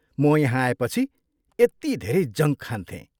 म यहाँ आएपछि यति धेरै जङ्क खान्थेँ।